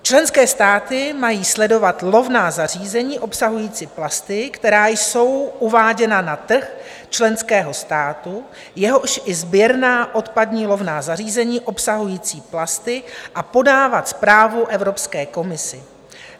Členské státy mají sledovat lovná zařízení obsahující plasty, která jsou uváděna na trh členského státu, jakož i sběrná odpadní lovná zařízení obsahující plasty, a podávat zprávu Evropské komisi.